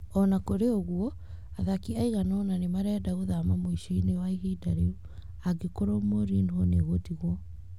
O na kũrĩ ũguo, athaki aigana ũna nĩ marenda gũthama mũico-inĩ wa ihinda rĩu. Angĩkorũo Mourinho nĩ egũtigwo.